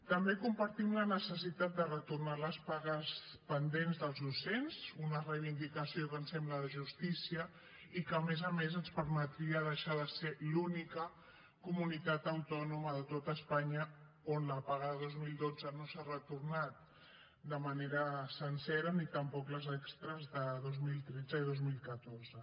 també compartim la necessitat de retornar les pagues pendents dels docents una reivindicació que ens sembla de justícia i que a més a més ens permetria deixar de ser l’única comunitat autònoma de tot espanya on la paga de dos mil dotze no s’ha retornat de manera sencera ni tampoc les extres de dos mil tretze i dos mil catorze